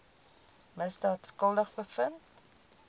misdaad skuldig bevind